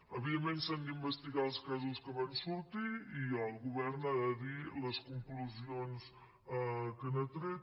evidentment s’han d’investigar els casos que van sortir i el govern ha de dir les conclusions que n’ha tret